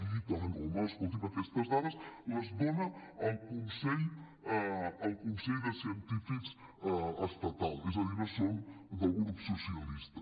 i tant home escolti’m aquestes dades les dona el consell de científics estatal és a dir no són del grup so·cialista